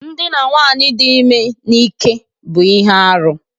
Ndina nwaanyị dị ime n'ike bụ ihe arụ